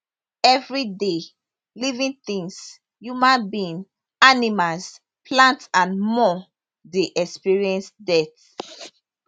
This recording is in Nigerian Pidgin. evriday living tins human being animals plant and more dey experience death